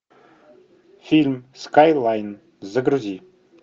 фильм скайлайн загрузи